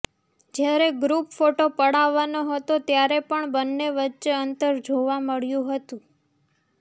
જ્યારે group photo પડાવવાનો હતો ત્યારે પણ બંને વચ્ચે અંતર જોવા મળ્યું હતું